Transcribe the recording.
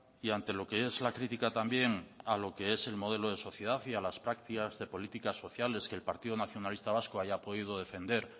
y ante lo que es la crítica también a lo que es el modelo de sociedad y a las prácticas de política sociales que el partido nacionalista vasco haya podido defender